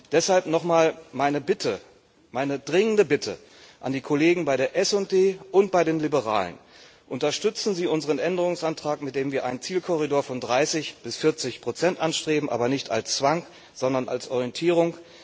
Deshalb noch mal meine Bitte, meine dringende Bitte an die Kollegen bei der SD und bei den Liberalen Unterstützen Sie unseren Änderungsantrag mit dem wir einen Zielkorridor von 30 bis 40 Prozent anstreben, aber nicht als Zwang, sondern als Orientierung.